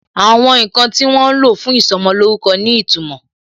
Àwọn ǹkan tí wọ́n lo fún ìsọmolórúkọ ní ìtumò